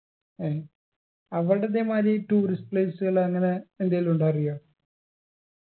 ഏർ അവിടിതേമാരി tourist place കളങ്ങനെ എന്തേലുണ്ടൊ അറിയോ